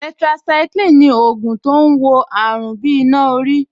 Tetracycline ni ògùn tó ń wo àrùn bí iná orí